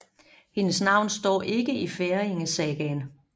Hendes navn står ikke i Færingesagaen